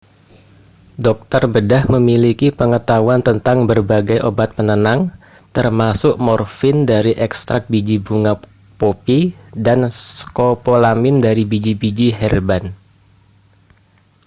dokter bedah memiliki pengetahuan tentang berbagai obat penenang termasuk morfin dari ekstrak biji bunga popi dan skopolamin dari biji-biji herban